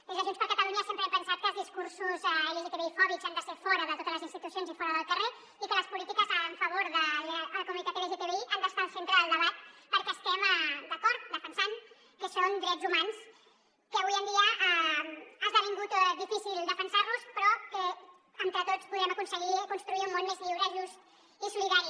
des de junts per catalunya sempre hem pensat que els discursos lgtbi fòbics han de ser fora de totes les institucions i fora del carrer i que les polítiques en favor de la comunitat lgtbi han d’estar al centre del debat perquè estem d’acord defensant que són drets humans que avui en dia ha esdevingut difícil defensar los però que entre tots podrem aconseguir construir un món més lliure just i solidari